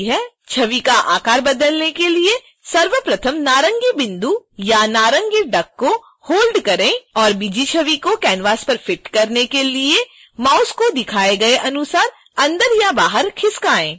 छवि का आकार बदलने के लिए सर्वप्रथम नारंगी बिंदु या नारंगी डक को होल्ड करें और bg छवि को canvas पर फ़िट करने के लिए माउस को दिखाए गए अनुसार अंदर या बाहर खिसकाएँ